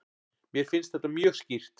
Mér finnst þetta mjög skýrt.